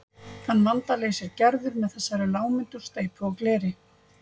Þann vanda leysir Gerður með þessari lágmynd úr steypu og gleri.